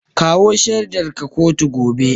Kawo shaidarka kotu gobe.